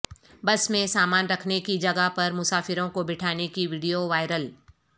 بس میں سامان رکھنے کی جگہ پر مسافروں کو بٹھانے کی ویڈیووائرل